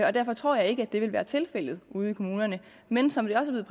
og derfor tror jeg ikke det vil være tilfældet ude i kommunerne men som det også er